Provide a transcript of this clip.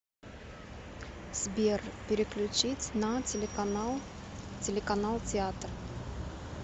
сбер переключить на телеканал телеканал театр